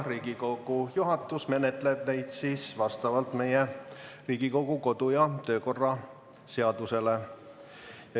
Riigikogu juhatus menetleb neid vastavalt Riigikogu kodu- ja töökorra seadusele.